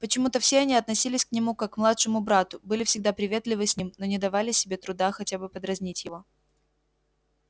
почему-то все они относились к нему как к младшему брату были всегда приветливы с ним но не давали себе труда хотя бы подразнить его